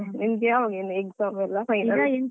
ಅದೇ ಅದೇ ನಿಂಗೆ ಯಾವಾಗ ಇನ್ನು exam ಎಲ್ಲ final ಎಲ್ಲ.